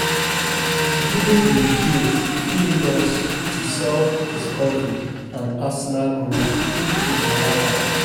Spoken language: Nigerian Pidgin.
Dealing with guilt fit lead us to self-discovery and personal growth if we allow am.